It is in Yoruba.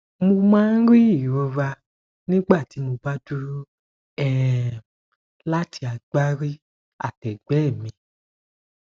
mo máa ń rí ìrora nígbà tí mo bá dúró um láti agbárí àtẹgbẹ mi